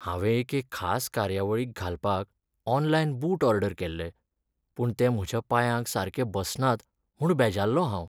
हांवें एके खास कार्यावळीक घालपाक ऑनलायन बूट ऑर्डर केल्ले, पूण ते म्हज्या पांयाक सारके बसनात म्हूण बेजारलो हांव.